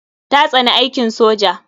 Ta tsani aikin soja.